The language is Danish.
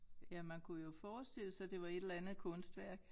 Ja man kunne jo forestille sig det var et eller andet kunstværk